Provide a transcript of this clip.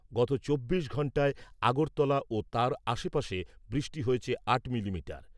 গত চব্বিশ ঘন্টায় আগরতলা ও তার আশেপাশে বৃষ্টি হয়েছে আট মিলিমিটার।